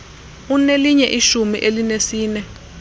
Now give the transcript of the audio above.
unelinye ishumi elinesine